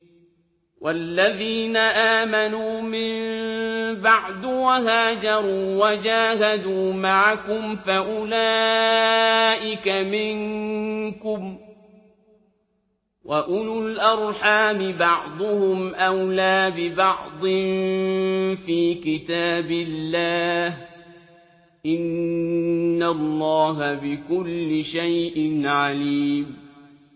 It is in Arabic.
وَالَّذِينَ آمَنُوا مِن بَعْدُ وَهَاجَرُوا وَجَاهَدُوا مَعَكُمْ فَأُولَٰئِكَ مِنكُمْ ۚ وَأُولُو الْأَرْحَامِ بَعْضُهُمْ أَوْلَىٰ بِبَعْضٍ فِي كِتَابِ اللَّهِ ۗ إِنَّ اللَّهَ بِكُلِّ شَيْءٍ عَلِيمٌ